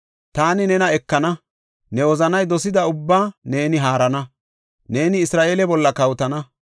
Taani nena ekana; ne wozanay dosida ubbaa neeni haarana; neeni Isra7eele bolla kawotana.